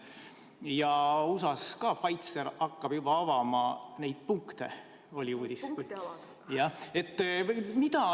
Ja oli uudis, et USA-s ka Pfizer hakkab juba avama neid punkte.